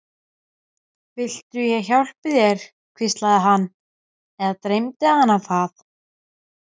Viltu ég hjálpi þér, hvíslaði hann- eða dreymdi hana það?